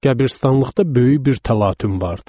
Qəbristanlıqda böyük bir təlatüm vardı.